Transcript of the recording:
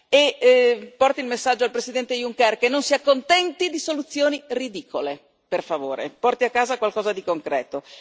E porto un messaggio al Presidente Juncker che non si accontenti di soluzioni ridicole, per favore, e porti a casa qualcosa di concreto.